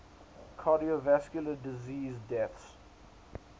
cardiovascular disease deaths